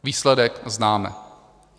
Výsledek známe.